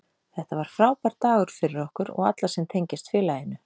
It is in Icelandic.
Þetta var frábær dagur fyrir okkur og alla sem tengjast félaginu.